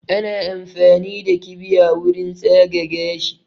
Ana amfani da kibiya wurin tsaga gashi